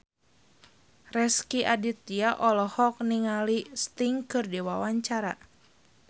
Rezky Aditya olohok ningali Sting keur diwawancara